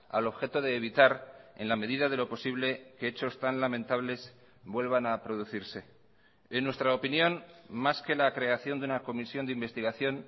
al objeto de evitar en la medida de lo posible que hechos tan lamentables vuelvan a producirse en nuestra opinión más que la creación de una comisión de investigación